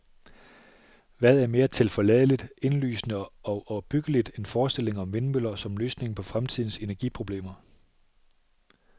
Hvad er mere tilforladeligt, indlysende og opbyggeligt, end forestillingen om vindmøller som løsningen på fremtidens energiproblemer?